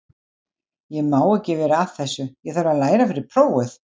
Ég má ekki vera að þessu, ég þarf að læra fyrir prófið.